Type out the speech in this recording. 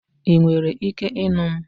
Ị nwere ike ịnụ m?